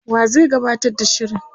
wa zai gabatar da shirin,?